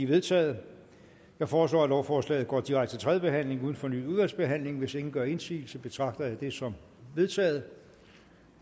vedtaget jeg foreslår at lovforslaget går direkte til tredje behandling uden fornyet udvalgsbehandling hvis ingen gør indsigelse betragter jeg det som vedtaget